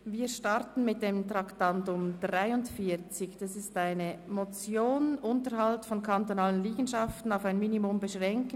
Wir starten mit dem Traktandum 43, der Motion «Unterhalt von kantonalen Liegenschaften auf ein Minimum beschränken»;